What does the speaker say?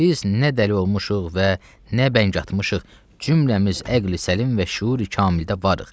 Biz nə dəli olmuşuq və nə bəng atmışıq, cümləmiz əqli səlim və şüuri kamildə varıq.